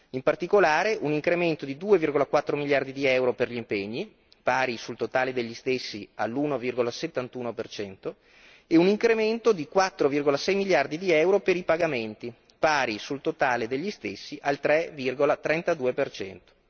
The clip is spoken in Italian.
in particolare, un incremento di 2,4 miliardi di euro per gli impegni, pari, sul totale degli stessi, all'1,71 per cento e un incremento di 4,6 miliardi di euro per i pagamenti, pari, sul totale degli stessi, al 3,32 per cento.